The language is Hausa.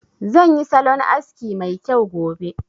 Zan yi salon aski mai kyau gobe